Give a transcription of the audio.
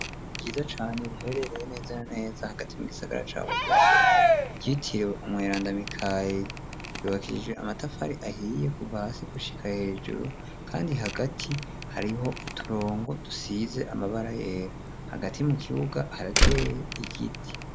Ryiza cane riherereye neza na neza hagati mu gisagara ca Bujumbura ryitiriwe umweranda Mikayeri ryubakishije amatafari ahiye kuva hasi gushika hejuru kandi hagati hariho uturongo dusize amabara yera hagati mu kibuga harateye igiti.